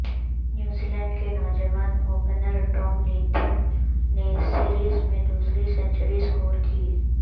نیوزی Zealand کے نوجوان opener Tom Latham نے سیریز میں دوسری سنچری سکور کی